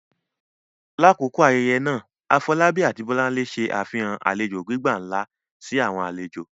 Lakoko ayẹyẹ naa, Afolabi ati Bolanle ṣe afihan alejo gbigba nla si awọn alejo.